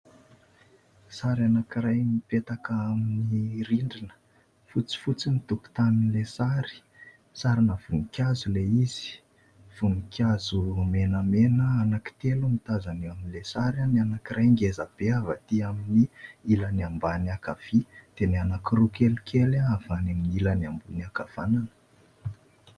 Sary anankiray mipetaka amin'ny rindrina. Fotsifotsy ny tokotanin'ilay sary, sarina voninkazo ilay izy. Voninkazo menamena anankitelo no tazana eo amin'ilay sary. Ny anankiray ngezabe avy aty amin'ny ilany ambany ankavia dia ny anankiroa kelikely avy any amin'ny ilany ambony ankavanana.